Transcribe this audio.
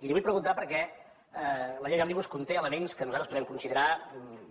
i li ho vull preguntar perquè la llei òmnibus conté elements que nosaltres podem considerar